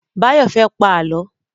Báyọ̀ fẹ́ pá Àlọ́.